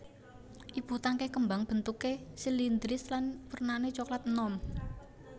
Ibu tangkai kembang bentuké silindris lan wernané coklat enom